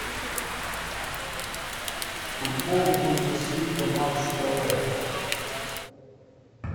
футбол бундеслига матч тв